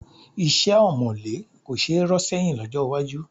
Iṣẹ́ ọ̀mọ̀lé kò ṣe é rọ́ sẹ́yìn lọ́jọ́ iwájú